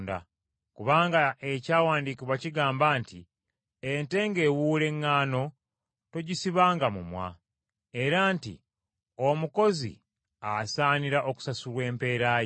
Kubanga Ekyawandiikibwa kigamba nti, “Ente ng’ewuula eŋŋaano, togisibanga mumwa.” Era nti, “Omukozi asaanira okusasulwa empeera ye.”